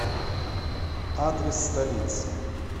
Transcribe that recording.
адрес столица